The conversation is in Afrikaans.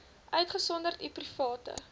uitgesonderd u private